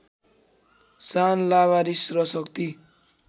शान लावारिस र शक्ति